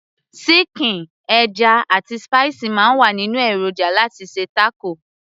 síkìn, ẹja, àti spicy máa ń wà nínú èròjà láti ṣe taco